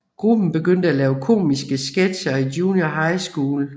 Gruppen begyndte at lave komiske sketcher i junior high school